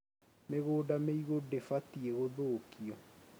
Mĩgũnda mĩigũ ndĩbatiĩ gũthũkio